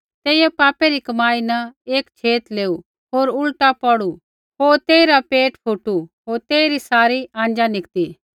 तेइयै पापै री कमाई न एक छेत लेऊ होर उल्टा पौड़ू होर तेइरा पेट फुटू होर तेइरी सारी आँजा निकती